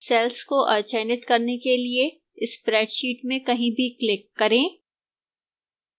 cells को अचयनित करने के लिए spreadsheet में कहीं भी click करें